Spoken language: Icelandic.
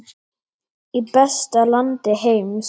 Í besta landi heims.